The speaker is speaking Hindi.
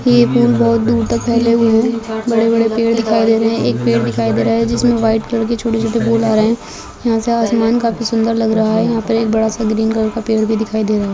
ये फूल बहुत दूर तक फैले हुए है बड़े -बड़े पेड़ दिखाई दे रहे है एक पेड़ दिखाई दे रहा है जिसमे वाइट कलर के छोटे-छोटे फूल आ रहे है यहाँ से आसमान काफी सुंदर लग रहा है यहाँ पर एक बड़ा सा ग्रीन कलर का पेड़ भी दिखाई दे रहा है ।